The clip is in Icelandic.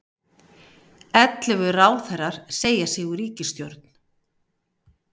Ellefu ráðherrar segja sig úr ríkisstjórn